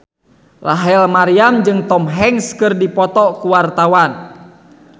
Rachel Maryam jeung Tom Hanks keur dipoto ku wartawan